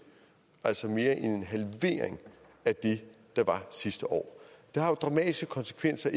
altså mere end en halvering af det der var sidste år det har jo dramatiske konsekvenser